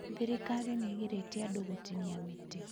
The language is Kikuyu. Thirikari nĩ ĩgirĩtie andũ gũtinia mĩtĩ.